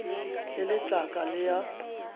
e le tlaka le a